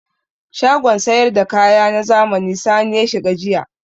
Shagon sayar da kaya na zamani Sani ya shiga jiya.